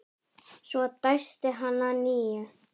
Svo dæsti hann að nýju.